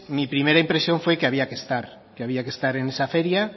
mi primera impresión fue que había que estar que había que estar en esa feria